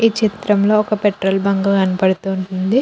ఈ చిత్రంలో ఒక పెట్రోల్ బంక్ కనపడుతూ ఉంది.